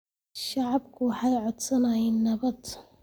Shacabku waxay codsanayaan nabad